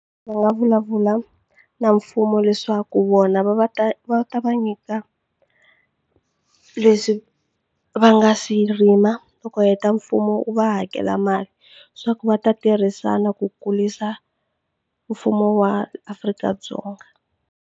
Va nga vulavula na mfumo leswaku wona va va ta va ta va nyika leswi va nga swi rima loko heta mfumo wu va hakela mali swa ku va ta tirhisana ku kurisa mfumo wa Afrika-Dzonga.